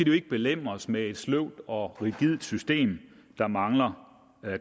jo ikke belemres med et sløvt og rigidt system der mangler